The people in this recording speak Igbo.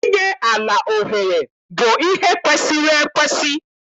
Inye ala ohere bụ ihe kwesiri ekwesi.